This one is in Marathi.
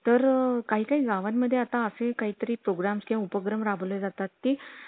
तर काही काही गावान मध्ये आता काय तरी programs किंवा उपग्रम राबवले जातात ती